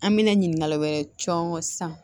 An mɛna ɲininkali wɛrɛ cɔngɔn sisan